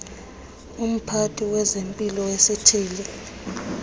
umphathi wezempilo wesithili